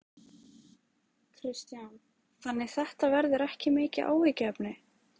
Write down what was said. Kristján: Þannig þetta verður ekki mikið áhyggjuefni?